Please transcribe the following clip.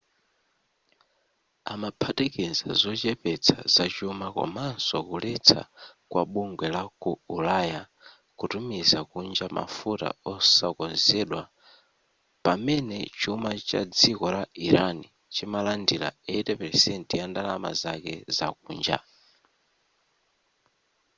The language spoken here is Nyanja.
amaphatikiza zochepetsa zachuma komanso kuletsa kwa bugwe la ku ulaya kutumiza kunja mafuta osakonzedwa pamene chuma cha dziko la iran chimalandira 80% ya ndalama zake zakunja